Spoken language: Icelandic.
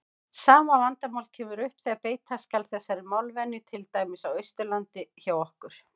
Sama vandamál kemur upp þegar beita skal þessari málvenju til dæmis á Austurlandi hjá okkur.